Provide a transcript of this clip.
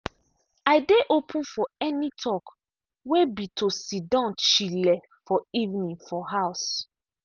i dey open for any talk way be to sidon chile for evening for house.